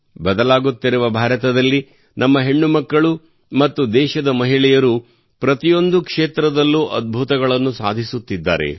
ಬದಲಾಗುತ್ತಿರುವ ಭಾರತದಲ್ಲಿ ನಮ್ಮ ಹೆಣ್ಣುಮಕ್ಕಳು ಮತ್ತು ದೇಶದ ಮಹಿಳೆಯರು ಪ್ರತಿಯೊಂದು ಕ್ಷೇತ್ರದಲ್ಲೂ ಅದ್ಭುತಗಳನ್ನು ಸಾಧಿಸುತ್ತಿದ್ದಾರೆ